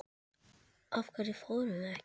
Af hverju fórum við ekki?